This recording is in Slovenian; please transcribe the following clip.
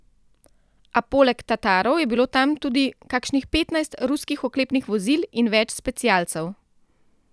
A poleg Tatarov je bilo tam tudi kakšnih petnajst ruskih oklepnih vozil in več specialcev.